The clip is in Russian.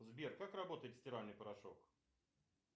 сбер как работает стиральный порошок